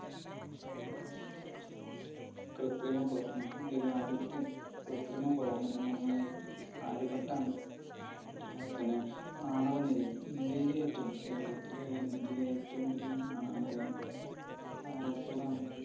കൃത്രിമ ഉപകരണം, ഇന്ത്യയിൽ ആദ്യത്തെ കൃത്രിമ ഉപകരണം എന്ന് പറഞ്ഞാൽ ആര്യഭട്ട ആണ്. അതിൽ തന്നെ ആണവനിലയം, ഇന്ത്യയിലെ ഏറ്റവും കേരളത്തിലെയല്ല ഇന്ത്യയിലെ ഏറ്റവും വലിയ ആണവനിലയം?